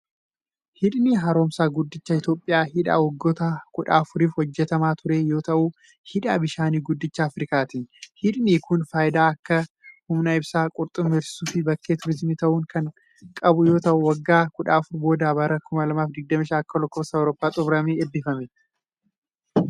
Hidhni haaromsa guddicha Itoophiyaa, hidha waggoota kudha afuriif hojjamaa ture yoo ta'u, hidha bishaanii guddicha Afriikaati. Hidhni kun, faayidaa kan akka:humna ibsaa, qorxummii horsiisuu fi bakka turizimii ta'uu faa kan qabu yoo ta'u, hojii waggaa kudha afurii booda bara 2025 A.L.A. xumuramee eebbifame.